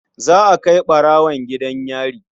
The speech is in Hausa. Za a kai ɓarwon gidan yari.